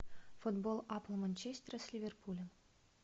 футбол апл манчестера с ливерпулем